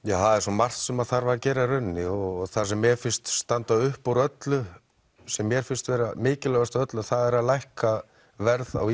það er svo margt sem þar að gera í rauninni og það sem mér finnst standa upp úr öllu sem mér finnst vera mikilvægast af öllu það er að lækka verð á